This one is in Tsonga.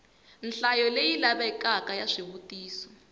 nhlayo leyi lavekaka ya swivutiso